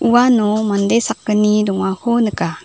uano mande sakgni dongako nika.